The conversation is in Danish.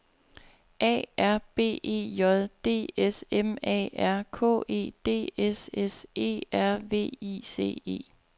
A R B E J D S M A R K E D S S E R V I C E